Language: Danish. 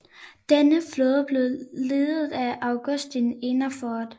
Denne nye flåde blev ledet af Augustin Ehrensvärd